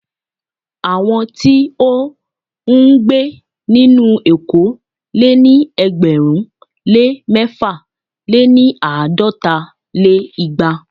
Àwọn tí ó ń gbé nínú éko lé ní ẹgbẹ̀rún lé mẹ̀fà- lé-ní- àádọ́ta lé igba.